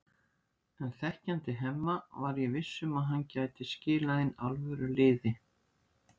En þekkjandi Hemma var ég viss um að hann gæti skilað inn alvöru liði.